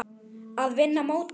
Að vinna mótið?